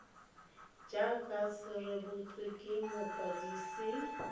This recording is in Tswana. jaaka se rebotswe ke mokwadisi